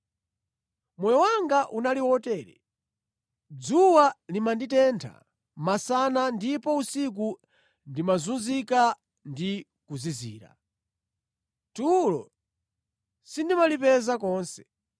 Moyo wanga unali wotere: Dzuwa limanditentha masana ndipo usiku ndimazunzika ndi kuzizira. Tulo sindimalipeza konse.